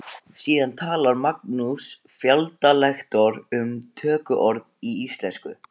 Síðan talar Magnús Fjalldal lektor um tökuorð í íslensku.